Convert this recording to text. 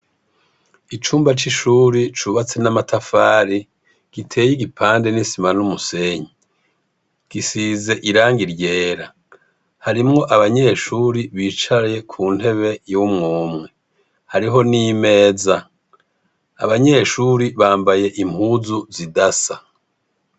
Icumba c'ishuri cubatse n'amatafari gitey'igipande n'isima n'umusenyi. Gisize irangi ryera. Harimwo abanyeshuri bicaye ku ntebe y'umw'umwe. Hariho n'imeza. Abanyeshuri bambaye impuzu zidasa.